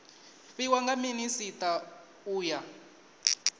fhiwa nga minisita u ya